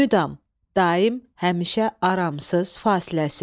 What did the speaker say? Müdam – daim, həmişə, aramsız, fasiləsiz.